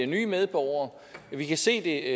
nye medborgere vi kan se det